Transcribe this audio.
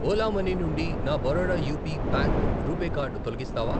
Ola money నుండి నా Baroda UP bank RuPay card తొలగిస్తావా?